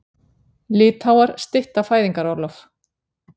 Litháar stytta fæðingarorlof